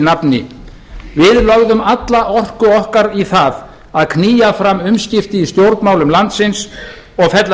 nafni við lögðum alla orku okkar í það að knýja fram umskipti í stjórnmálum landsins og fella